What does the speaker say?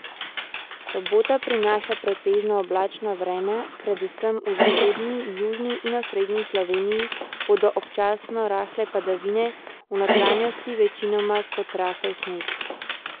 Sobota prinaša pretežno oblačno vreme, predvsem v zahodni, južni in osrednji Sloveniji bodo občasno rahle padavine, v notranjosti večinoma kot rahel sneg.